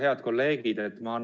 Head kolleegid!